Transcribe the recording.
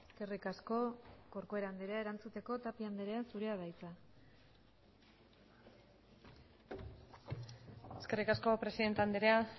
eskerrik asko corcuera andrea erantzuteko tapia andrea zurea da hitza eskerrik asko presidente andrea